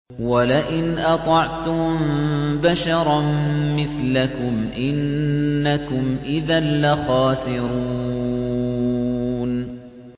وَلَئِنْ أَطَعْتُم بَشَرًا مِّثْلَكُمْ إِنَّكُمْ إِذًا لَّخَاسِرُونَ